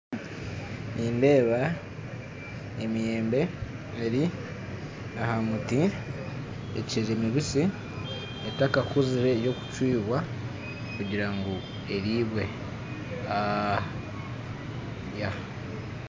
Nindeba emiyembe eri aha muti ekiri mibisi etakakuzire y'okucwibwa kugirangu eribwe.